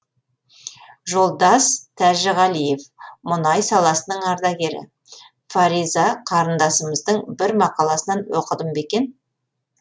жолдас тәжіғалиев мұнай саласының ардагері фариза қарындасымыздың бір мақаласынан оқыдым бе екен